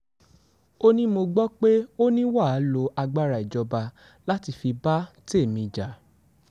ó ní mo gbọ́ pé ó ní wà á lo agbára ìjọba láti fi bá tèmi jà